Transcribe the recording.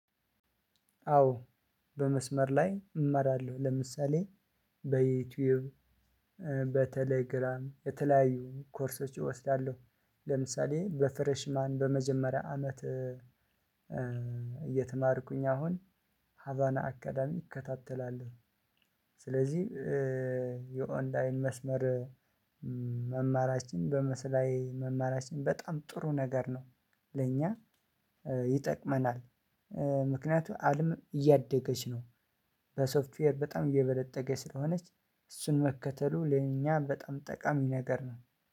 አዎ በመስመር ላይ እመራለሁ ለምሳሌ በዩትዩብ በተሌግራም የተለያዩ ኮርሶች አወስዳለው። ለምሳሌ በፍሬሽ ማን በመጀመሪያ አመት እየተማርኩኝ አሁን ሀባና አካዳሚ ይከታተላል። ስለዚህ የኦንላይን መስመር መማራችን በመስላይ መመራችን በጣም ጥሩ ነገር ነው ለኛ ይጠቅመናል። ምክንያቱም አለም እያደገች ነው። በሶፍትዌር በጣም አየበለጠገ ስለሆነች እሱን መከተሉ ለኛ በጣም ጠቃሚ ነገር ነው።